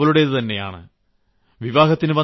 ഈ ആശയം അവളുടേതുതന്നെയാണ്